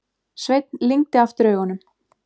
Sveinn lygndi aftur augunum.